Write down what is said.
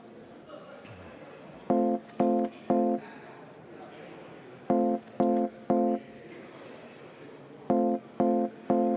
Vabandust!